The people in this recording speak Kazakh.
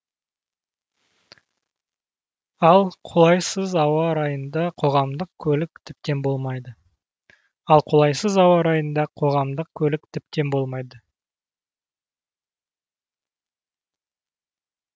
ал қолайсыз ауа райында қоғамдық көлік тіптен болмайды